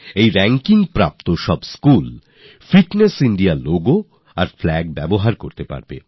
এই র্যাংকিং অর্জনকারী সমস্ত স্কুল ফিট ইন্ডিয়ালোগো আর ফ্ল্যাগ এর ব্যবহার করতে পারবে